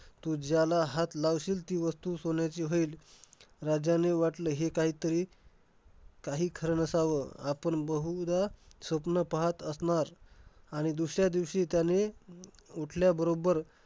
तू ज्याला हात लावशील, ती वस्तू सोन्याची होईल. राजाने वाटलं हे काहीतरी काही खरं नसावं. आपण बहुदा स्वप्न पाहत असणार. आणि दुसऱ्या दिवशी त्याने, उठल्या बरोबर